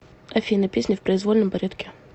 афина песни в произвольном порядке